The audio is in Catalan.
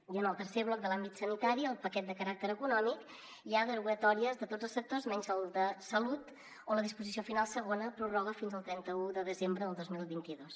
i en el tercer bloc de l’àmbit sanitari el paquet de caràcter econòmic hi ha derogatòries de tots els sectors menys del de salut on la disposició final segona ho prorroga fins al trenta un de desembre del dos mil vint dos